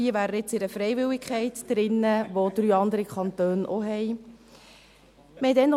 Hier wäre jetzt eine Freiwilligkeit dabei, wie sie drei andere Kantone auch kennen.